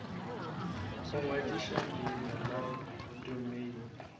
go ngwadiša leina la domeine